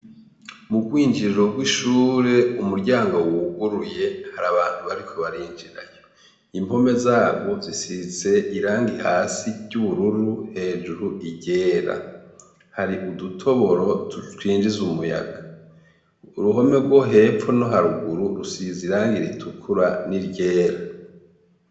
Mu gwinjiriro rw'ishure umuryango wuguruye, hari abantu bariko barinjirayo. Impome zarwo zisize irangi hasi ry'ubururu hejuru iryera. Hari udutoboro twinjiza umuyaga. Uruhome rwo hepfo no haruguru rusize irangi ritukura n'iryera.